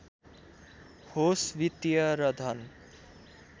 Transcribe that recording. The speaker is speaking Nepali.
होस् वित्‍तीय र धन